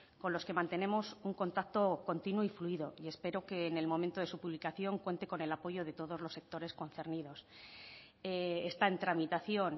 con los que mantenemos un contacto continuo y fluido y espero que en el momento de su publicación cuente con el apoyo de todos los sectores concernidos está en tramitación